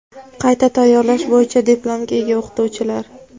qayta tayyorlash bo‘yicha diplomga ega o‘qituvchilar;.